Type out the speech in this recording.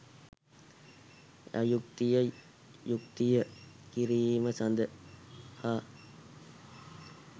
අයුක්තිය යුක්තිය කිරීම සඳහා